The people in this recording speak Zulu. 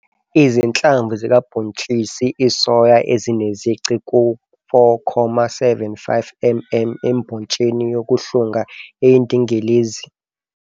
Izinhlamvu zikabontshisi isoya ezinezici ku-4,75 mm embotsheni yokuhlunga eyindingilizi